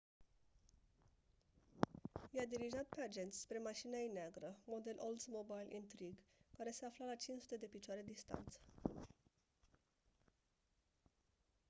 i-a dirijat pe agenți spre mașina ei neagră model oldsmobile intrigue care se afla la 500 de piciore distanță